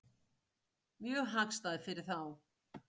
Mjög hagstæð fyrir þá.